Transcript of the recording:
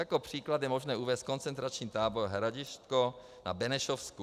Jako příklad je možné uvést koncentrační tábor Hradišťko na Benešovsku.